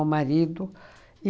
marido.